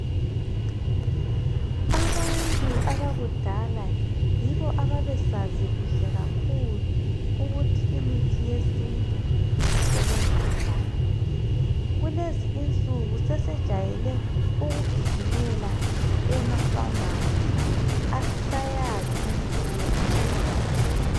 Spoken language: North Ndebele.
Abantu abakudala yibo ababesazi kuhle kakhulu ukuthi imithi yesintu isebenza njani kulezi insuku sesejayele ukugijimela ema phamarcy asisayazi imithi yesintu.